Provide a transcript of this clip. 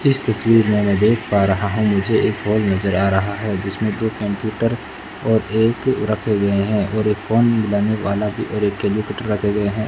इस तस्वीर में मैं देख पा रहा है मुझे एक हॉल नजर आ रहा हैं जिसमें दो कंप्यूटर और एक रखें गए हैं और एक फोन मिलाने वाला भीं और एक रखें गए हैं।